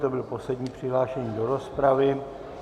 To byl poslední přihlášený do rozpravy.